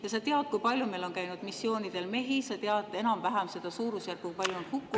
Kas sa tead, kui palju meil on missioonidel käinud mehi, kas sa tead enam-vähem seda suurusjärku, kui palju on hukkunuid …